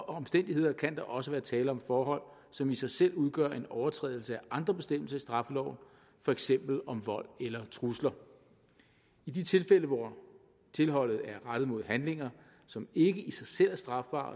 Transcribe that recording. omstændigheder kan der også være tale om forhold som i sig selv udgør en overtrædelse af andre bestemmelser i straffeloven for eksempel om vold eller trusler i de tilfælde hvor tilholdet er rettet mod handlinger som ikke i sig selv er strafbare